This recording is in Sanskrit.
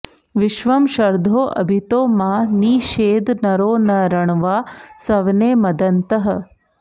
विश्वं॒ शर्धो॑ अ॒भितो॑ मा॒ नि षे॑द॒ नरो॒ न र॒ण्वाः सव॑ने॒ मद॑न्तः